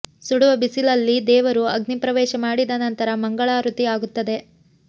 ಸುಡುವ ಬಿಸಿಲಲ್ಲಿ ದೇವರು ಅಗ್ನಿ ಪ್ರವೇಶ ಮಾಡಿದ ನಂತರ ಮಂಗಳಾರುತಿ ಆಗುತ್ತದೆ